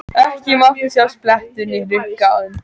Ekki mátti sjást blettur né hrukka á þeim.